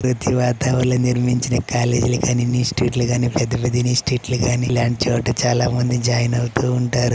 ఇటువంటి వాతావరణంలో నిర్మించిన కాలేజీ లు గానీ ఇన్స్టిట్యూట్ లు గానీ పెద్ద పెద్ద ఇన్స్టిట్యూట్ గానీ ఇలాంటి చోట చాలా మంది జాయిన్ అవుతూ ఉంటారు.